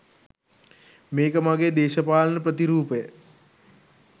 මේක මගේ දේශපාලන ප්‍රතිරූපය